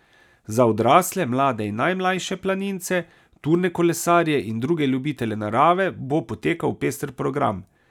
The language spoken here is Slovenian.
Za odrasle, mlade in najmlajše planince, turne kolesarje in druge ljubitelje narave bo potekal pester program.